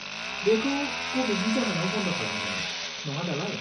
बेखौ क'विडनि जाहोनाव बन्द खालामदोंमोन, नङा दालाय?